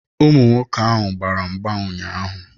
Ụmụ nwoke ahụ gbara mgba ụnyaahụ.